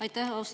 Aitäh!